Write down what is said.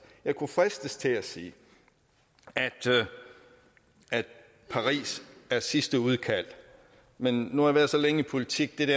jeg kunne fristes til at sige at paris er sidste udkald men nu har jeg været så længe i politik at det